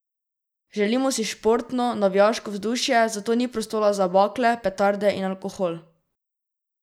Želimo si športno, navijaško vzdušje, zato ni prostora za bakle, petarde in alkohol.